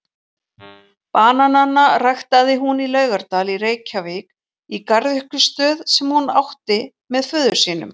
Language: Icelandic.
Bananana ræktaði hún í Laugardal í Reykjavík í garðyrkjustöð sem hún átti með föður sínum.